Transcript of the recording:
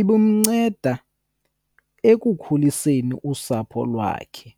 ibimnceda ekukhuliseni usapho lwakhe.